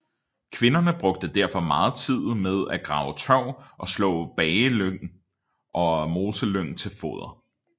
Kvinderne brugte derfor meget tid med at grave tørv og slå bagelyng og mosselyng til foder